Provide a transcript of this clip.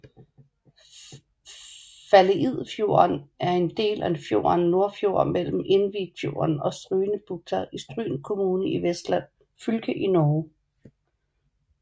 Faleidfjorden er en del af fjorden Nordfjord mellem Innvikfjorden og Strynebukta i Stryn kommune i Vestland fylke i Norge